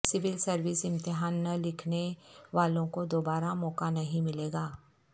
civil service امتحان نہ لکھنے والوں کو دوبارہ موقع نہیں ملے گا